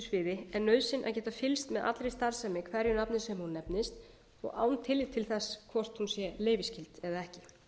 er nauðsyn að geta fylgst með allri starfsemi hverju nafni sem hún nefnist og án tillits til þess hvort hún sé leyfisskyld eða ekki